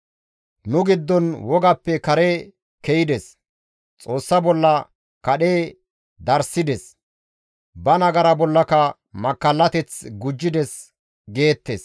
Nu giddon wogappe kare ke7ides; Xoossa bolla kadhe darssides; ba nagara bollaka makkallateth gujjides» geettes.